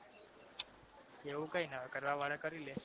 એવુ કઈ ના હોય કરવા વાળા કરી લે